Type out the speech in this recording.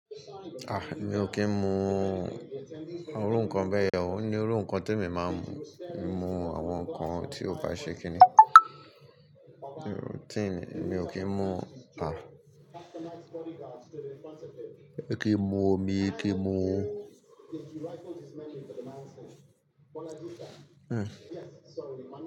Ah, mi ò kí ń mu àwọn orú nkàn bẹ́ẹ̀ yẹn o. Ó ní orú nkàn tí èmi máa ń mu. Mii mú àwọn nǹkan tí ò bá ṣe kíni. Tin, mi ò kí ń mu, ah, kí ń mu omi, kí ń mu Hmm.